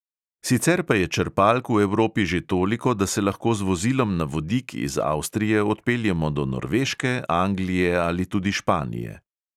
Sicer pa je črpalk v evropi že toliko, da se lahko z vozilom na vodik iz avstrije odpeljemo do norveške, anglije ali tudi španije.